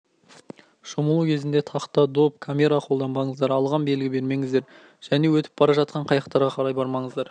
шомылу кезінде тақта доп камера қолданбаныздар алған белгі бермеңіздер және өтіп бара жатқан қайықтарға қарай бармаңыздар